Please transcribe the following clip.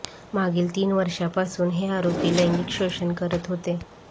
मागील तीन वर्षांपासून हे आरोपी लैंगिक शोषण करत होते